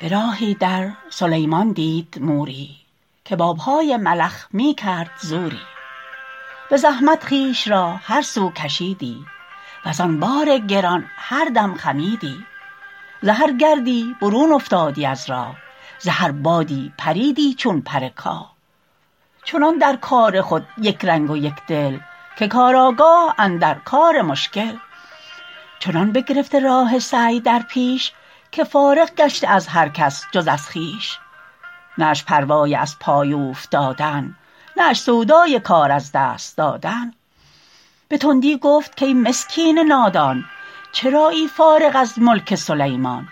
براهی در سلیمان دید موری که با پای ملخ میکرد زوری بزحمت خویش را هر سو کشیدی وزان بار گران هر دم خمیدی ز هر گردی برون افتادی از راه ز هر بادی پریدی چون پر کاه چنان در کار خود یکرنگ و یکدل که کارآگاه اندر کار مشکل چنان بگرفته راه سعی در پیش که فارغ گشته از هر کس جز از خویش نه اش پروای از پای اوفتادن نه اش سودای کار از دست دادن بتندی گفت کای مسکین نادان چرایی فارغ از ملک سلیمان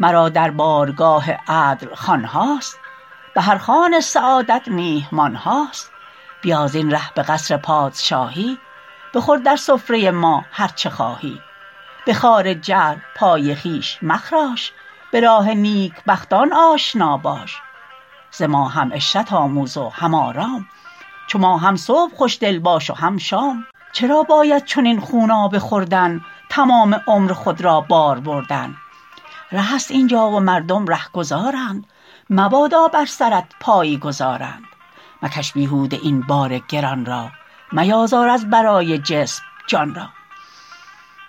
مرا در بارگاه عدل خوانهاست بهر خوان سعادت میهمانهاست بیا زین ره بقصر پادشاهی بخور در سفره ما هر چه خواهی به خار جهل پای خویش مخراش براه نیکبختان آشنا باش ز ما هم عشرت آموز و هم آرام چو ما هم صبح خوشدل باش و هم شام چرا باید چنین خونابه خوردن تمام عمر خود را بار بردن رهست اینجا و مردم رهگذارند مبادا بر سرت پایی گذارند مکش بیهوده این بار گران را میازار از برای جسم جان را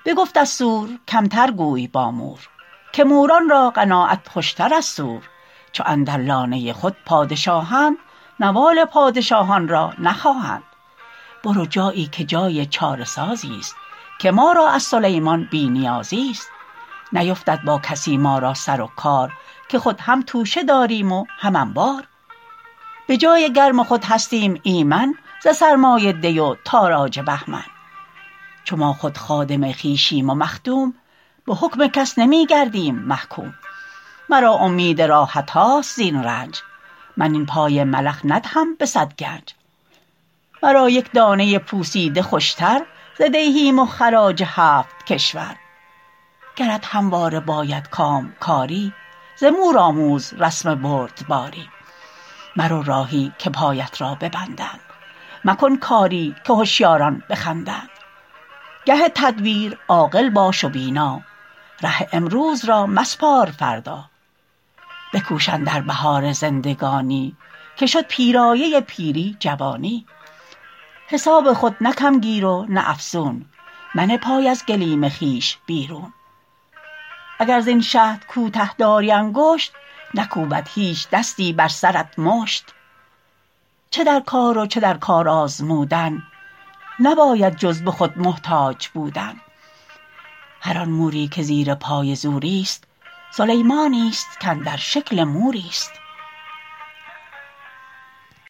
بگفت از سور کمتر گوی با مور که موران را قناعت خوشتر از سور چو اندر لانه خود پادشاهند نوال پادشاهان را نخواهند برو جاییکه جای چاره سازیست که ما را از سلیمان بی نیازیست نیفتد با کسی ما را سر و کار که خود هم توشه داریم و هم انبار بجای گرم خود هستیم ایمن ز سرمای دی و تاراج بهمن چو ما خود خادم خویشیم و مخدوم بحکم کس نمیگردیم محکوم مرا امید راحتهاست زین رنج من این پای ملخ ندهم بصد گنج مرا یک دانه پوسیده خوشتر ز دیهیم و خراج هفت کشور گرت همواره باید کامکاری ز مور آموز رسم بردباری مرو راهی که پایت را ببندند مکن کاری که هشیاران بخندند گه تدبیر عاقل باش و بینا ره امروز را مسپار فردا بکوش اندر بهار زندگانی که شد پیرایه پیری جوانی حساب خود نه کم گیر و نه افزون منه پای از گلیم خویش بیرون اگر زین شهد کوته داری انگشت نکوبد هیچ دستی بر سرت مشت چه در کار و چه در کار آزمودن نباید جز بخود محتاج بودن هر آن موری که زیر پای زوریست سلیمانیست کاندر شکل موریست